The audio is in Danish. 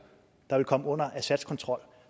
der vil komme under assads kontrol